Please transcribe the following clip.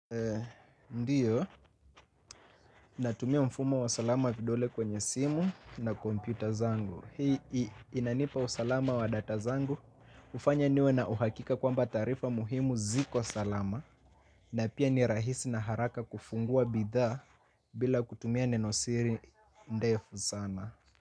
Ndiyo, natumia mfumo wa salama vidole kwenye simu na kompyuta zangu. Hii inanipa usalama wa data zangu. Hufanya niwe na uhakika kwamba taarifa muhimu ziko salama. Na pia ni rahisi na haraka kufungua bidhaa bila kutumia nenosiri ndefu sana.